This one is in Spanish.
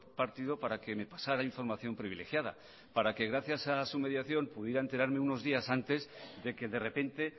partido para que me pasara información privilegiada para que gracias a su mediación pudiera enterarme unos días antes de que de repente